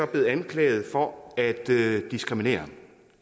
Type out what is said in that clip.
blevet anklaget for at diskriminere